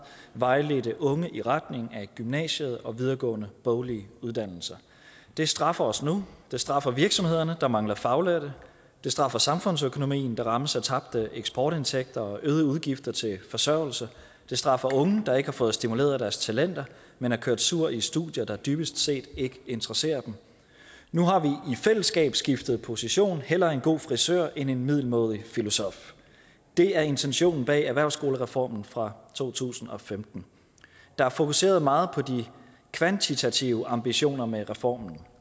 vejledte unge i retning af gymnasiet og videregående boglige uddannelser det straffer os nu det straffer virksomhederne der mangler faglærte det straffer samfundsøkonomien der rammes af tabte eksportindtægter og øgede udgifter til forsørgelse det straffer unge der ikke har fået stimuleret deres talenter men er kørt sure i studier der dybest set ikke interesserer dem nu har vi i fællesskab skiftet position hellere en god frisør end en middelmådig filosof det er intentionen bag erhvervsskolereformen fra to tusind og femten der er fokuseret meget på de kvantitative ambitioner med reformens